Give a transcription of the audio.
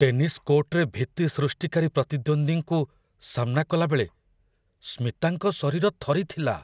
Tennis କୋର୍ଟରେ ଭୀତି ସୃଷ୍ଟିକାରୀ ପ୍ରତିଦ୍ୱନ୍ଦ୍ୱୀଙ୍କୁ ସାମ୍ନା କଲାବେଳେ ସ୍ମିତାଙ୍କ ଶରୀର ଥରିଥିଲା।